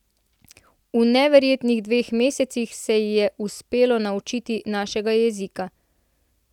V neverjetnih dveh mesecih se ji je uspelo naučiti našega jezika.